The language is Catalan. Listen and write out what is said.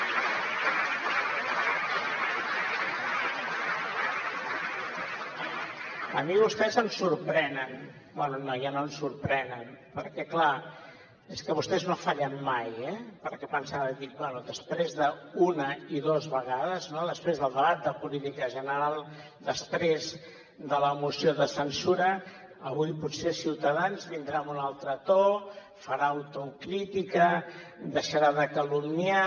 a mi vostès em sorprenen bé no ja no em sorprenen perquè clar és que vostès no fallen mai eh perquè pensava dic bé després d’una i dues vegades no després del debat de política general després de la moció de censura avui potser ciutadans vindrà amb un altre to farà autocrítica deixarà de calumniar